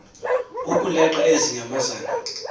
kukuleqa ezi nyamakazi